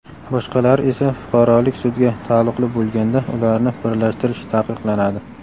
boshqalari esa fuqarolik sudga taalluqli bo‘lganda ularni birlashtirish taqiqlanadi.